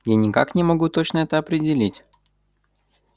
я никак не могу точно этого определить